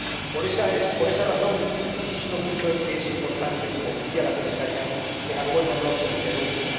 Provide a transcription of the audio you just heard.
Por esta razón insisto mucho en que es importante, como decía la Comisaria, que el Acuerdo no se interrumpa.